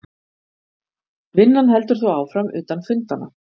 Vinnan heldur þó áfram utan fundanna